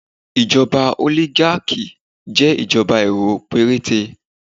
Ìjọba oligarchy jẹ́ ìjọba èrò péréte